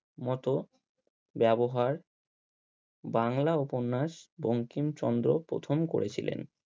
মতো ব্যবহার বাংলা উপন্যাস বঙ্কিমচন্দ্র প্রথম করেছিলেন।